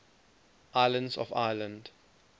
islands of ireland